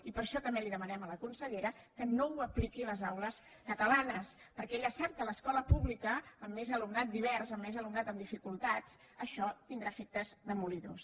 i per això també li demanem a la consellera que no ho apliqui a les aules catalanes perquè ella sap que a l’escola pública amb més alumnat divers amb més alumnat amb dificultats això tindrà efectes demolidors